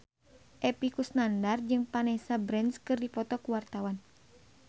Epy Kusnandar jeung Vanessa Branch keur dipoto ku wartawan